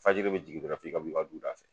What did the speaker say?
Fajiri bi jigin dɔrɔn f'i ka bɔ i ka du da fɛ